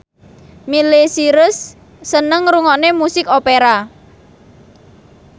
Miley Cyrus seneng ngrungokne musik opera